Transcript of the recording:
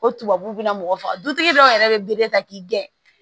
O tubabu bɛna mɔgɔ faga dutigi dɔw yɛrɛ bɛ ta k'i gɛn